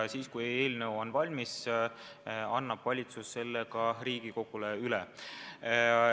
Kui eelnõu on valmis, annab valitsus selle Riigikogule üle.